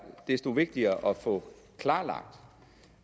desto vigtigere at få klarlagt